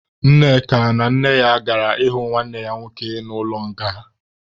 Nneka na nne ya gara ịhụ nwanne ya nwoke nọ n'ụlọ nga.